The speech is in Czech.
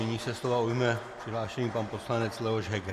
Nyní se slova ujme přihlášený pan poslanec Leoš Heger.